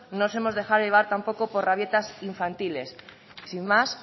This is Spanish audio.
no nos hemos dejado llevar tampoco por rabietas infantiles sin más